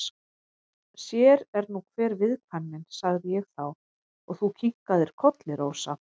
Sér er nú hver viðkvæmnin, sagði ég þá og þú kinkaðir kolli, Rósa.